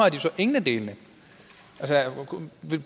jo så ingen af delene